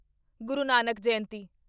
ਗੁਰੂ Nanak ਜਯੰਤੀ